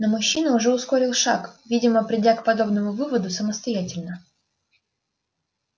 но мужчина уже ускорил шаг видимо придя к подобному выводу самостоятельно